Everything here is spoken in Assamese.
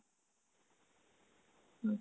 উম